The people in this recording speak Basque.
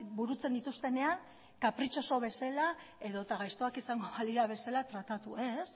burutzen dituztenean kapritxoso bezala edota gaiztoak izango balira bezala tratatu ez